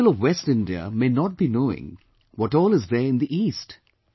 People of West India may not be knowing what all is there in the East